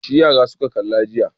Tashe yara suka kalla jiya.